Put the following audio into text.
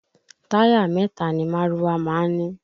Táyà mẹ́ta ni márúwá má ń ní